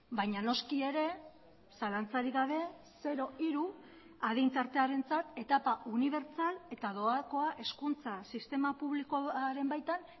baina noski ere zalantzarik gabe zero hiru adin tartearentzat etapa unibertsal eta doakoa hezkuntza sistema publikoaren baitan